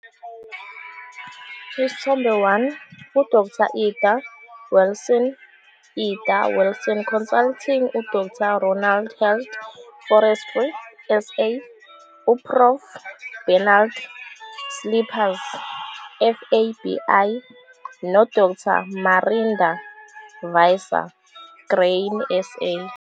Isithombe 1- U-Dr Ida Wilson, Ida Wilson Consulting, u-Dr Ronald Heath, Forestry SA, u-Prof Bernard Slippers, FABI, no-Dr Marinda Visser, Grain SA.